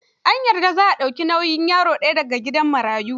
Ta yarda za ta dauki bauyin yaro daya da ga gidan marayun.